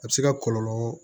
A bɛ se ka kɔlɔlɔ